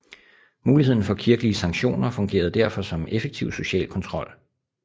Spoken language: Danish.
Muligheden for kirkelige sanktioner fungerede derfor som effektiv social kontrol